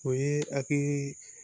O ye hakili